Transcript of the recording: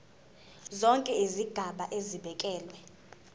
zonke izigaba zibekelwe